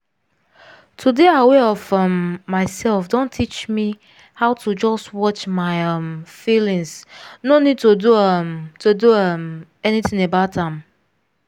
to dey aware of um myself don teach me how to just watch my um feelings no need to do um to do um anything about am.